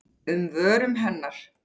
um vörum hennar.